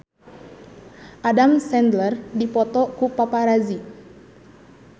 Adam Sandler dipoto ku paparazi